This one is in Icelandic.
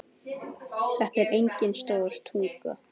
Þetta er engin stór tognun.